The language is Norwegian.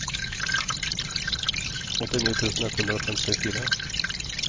åttini tusen ett hundre og femtifire